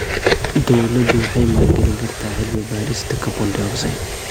Dawladdu waxay maalgelin kartaa cilmi-baarista carbon dioxide.